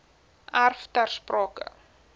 erf ter sprake